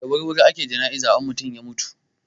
Da wurwuri ake jana'iza in an mutuwa.